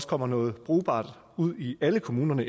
kommer noget brugbart ud i alle kommunerne